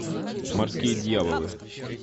морские дьяволы